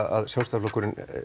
að Sjálfstæðisflokkurinn